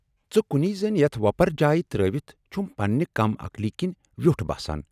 ژے کُنۍ زٔنۍ یَتھ وۅپر جایہِ ترٲوِتھ چھُم پننہِ کم عقلی کِنۍ ویوٹھ باسان۔